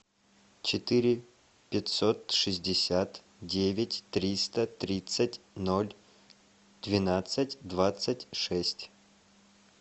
четыре пятьсот шестьдесят девять триста тридцать ноль двенадцать двадцать шесть